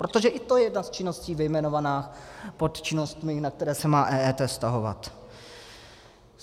Protože i to je jedna z činností vyjmenovaná pod činnostmi, na které se má EET vztahovat.